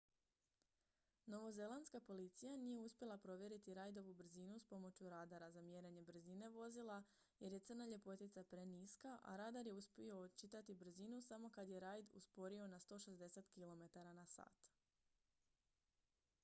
novozelandska policija nije uspjela provjeriti reidovu brzinu s pomoću radara za mjerenje brzine vozila jer je crna ljepotica preniska a radar je uspio očitati brzinu samo kad je reid usporio na 160 km/h